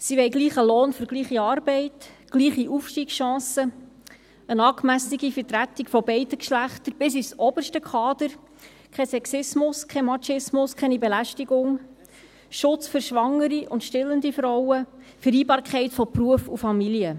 Sie wollen gleichen Lohn für gleiche Arbeit, gleiche Aufstiegschancen, eine angemessene Vertretung beider Geschlechter bis ins oberste Kader, keinen Sexismus, keinen Machismo, keine Belästigung, Schutz für schwangere und stillende Frauen, Vereinbarkeit von Beruf und Familie.